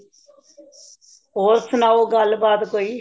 ਹੋਰ ਸੁਨਾਓ ਗੱਲ ਬਾਤ ਕੋਈ